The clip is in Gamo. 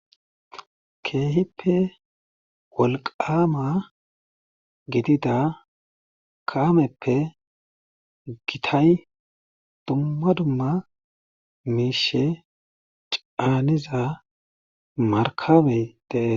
keehippe wolqama gidida kaameppe gitay dumma dumma miishe caaniza markabey dee